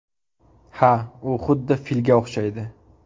Ha, u xuddi filga o‘xshaydi.